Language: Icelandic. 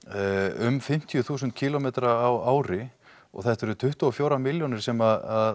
um fimmtíu þúsund kílómetrar á ári og þetta eru tuttugu og fjórar milljónir sem